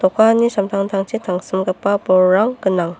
a·pani samtangtangchi tangsimgipa bolrang gnang.